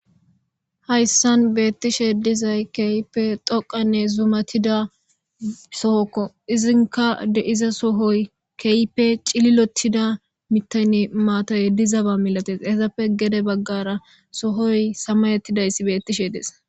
Hayssan beettishe dizay keype xoqanne zumatida sohokko izinka deiza sohoy keype cililotida mitaynne maataye dizaba milates hesappe gede baggara sohoy samayettidayssi beettishe deesa.